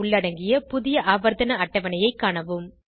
உள்ளடங்கிய புதிய ஆவர்த்தன அட்டவணை ஐ காணவும்